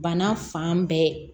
Bana fan bɛɛ